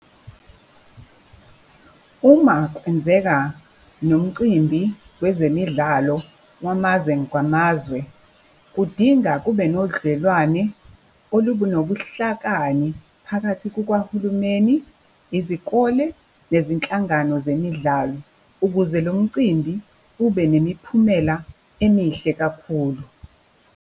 Uma kwenzeka nomcimbi kwezemidlalo wamazwe ngamazwe, kudinga kube nodlelwane olunobuhlakani phakathi kukahulumeni, izikole nezinhlangano zemidlalo, ukuze lo mcimbi ubenemiphumela emihle kakhulu.